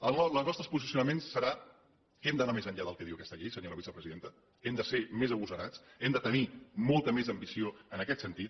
el nostre posicionament serà que hem d’anar més enllà del que diu aquesta llei senyora vicepresidenta hem de ser més agosarats hem de tenir molta més ambició en aquest sentit